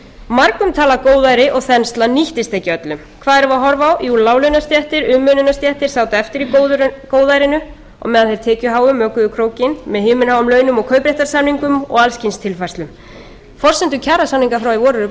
margumtalað góðæri og þensla nýttist ekki öllum hvað erum við að horfa á jú láglaunastéttir umönnunarstéttir sátu eftir í góðærinu á meðan þeir tekjuháu mökuðu krókinn með himinháum launum og kaupréttarsamningum og alls kyns tilfærslum forsendur kjarasamninga frá því í í vor eru